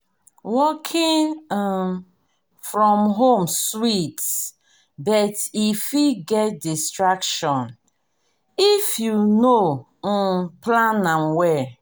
working um from home sweet but e fit get distraction if you no um plan well.